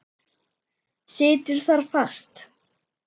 Situr þar fast.